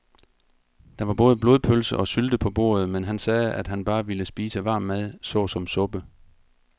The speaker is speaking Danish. Der var både blodpølse og sylte på bordet, men han sagde, at han bare ville spise varm mad såsom suppe.